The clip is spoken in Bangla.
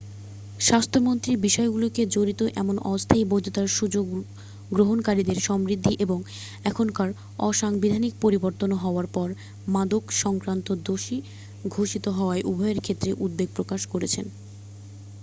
স্বাস্থ্যমন্ত্রী বিষয়গুলিতে জড়িত এমন অস্থায়ী বৈধতার সুযোগ গ্রহণকারীদের সমৃদ্ধি এবং এখনকার অসাংবিধানিক পরিবর্তন হওয়ার পর মাদক-সংক্রান্ত দোষী ঘোষিত হওয়া উভয়ের ক্ষেত্রে উদ্বেগ প্রকাশ করেছেন